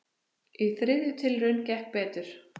Í þriðju tilraun gekk betur.